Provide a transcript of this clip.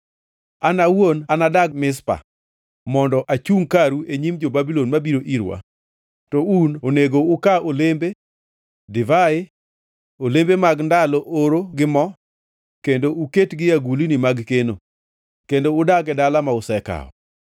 An awuon anadag Mizpa mondo achungʼ karu e nyim jo-Babulon mabiro irwa, to un onego uka olembe, divai, olembe mag ndalo oro gi mo, kendo uketgi e agulniu mag keno, kendo udag e dala ma usekawo.”